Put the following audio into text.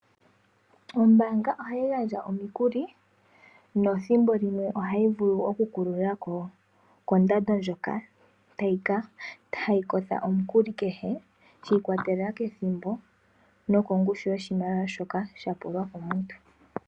Ombaanga ohayi gandja omikuli, nothimbo limwe ohayi vulu okukululako kondando ndyoka hayi kotha omukuli kehe, shi ikwatelela kethimbo, nokoshimaliwa shoka shapulwa komuntu.